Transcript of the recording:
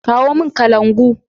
Kawo mun kalangu!